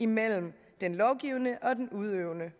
mellem den lovgivende og den udøvende